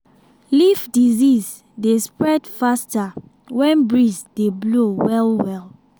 leaf disease dey spread faster when breeze dey blow well well.